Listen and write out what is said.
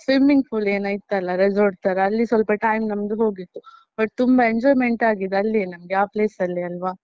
Swimming pool ಏನಾ ಇತ್ತಲ್ಲ, resort ತರ ಅಲ್ಲಿ ಸ್ವಲ್ಪ time ನಮ್ದು ಹೋಗಿತ್ತು but ತುಂಬಾ enjoyment ಆಗಿದ್ದು ಅಲ್ಲಿಯೇ ನಮ್ಗೆ ಆ place ಅಲ್ಲೇ ಅಲ್ವಾ?